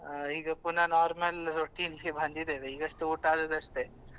ಅಹ್ ಈಗ ಪುನ normal routine ಗೆ ಬಂದಿದ್ದೇವೆ ಈಗಷ್ಟೆ ಊಟ ಆದದ್ದಷ್ಟೇ.